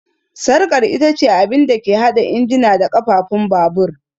Sarkar ita ce abin da ke haɗa injina da ƙafafun babur